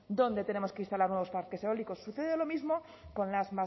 dónde tenemos que instalar nuevos parques eólicos sucede lo mismo con las